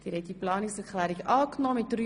Sie haben Planungserklärung 3 abgelehnt.